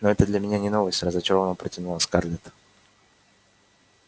ну это для меня не новость разочарованно протянула скарлетт